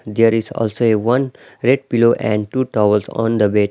There is also a one red pillow and two towels on the bed.